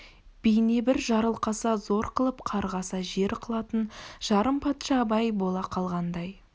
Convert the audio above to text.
бейне бір жарылқаса зор қылып қарғаса жер қылатын жарым патша абай бола қалғандай